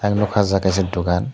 ang nogkha o jaga kaisa dogan.